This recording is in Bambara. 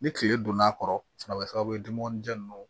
Ni kile donn'a kɔrɔ a bɛ kɛ sababu ye dumunijɛ ninnu